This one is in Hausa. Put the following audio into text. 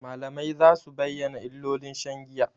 Malamai za su bayyana illolin shan giya.